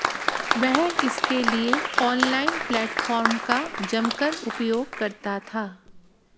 वह इसके लिए ऑनलाइन प्लेटफॉर्म का जमकर उपयोग करता था